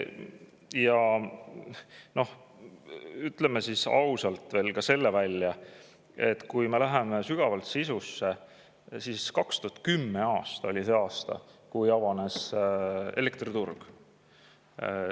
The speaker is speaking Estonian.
Ja no ütleme siis ausalt välja ka selle, et kui me läheme sügavalt sisusse, siis 2010 oli see aasta, kui avanes elektriturg.